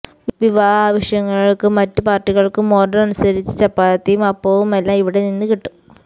വിവാഹ ആവശ്യങ്ങൾക്കും മറ്റു പാർട്ടികൾക്കും ഓർഡർ അനുസരിച്ചു ചപ്പാത്തിയും അപ്പവുമെല്ലാം ഇവിടെ നിന്ന് കിട്ടും